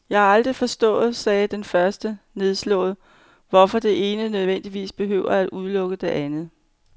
Jeg har bare aldrig forstået, sagde den første nedslået, hvorfor det ene nødvendigvis behøver at udelukke det andet.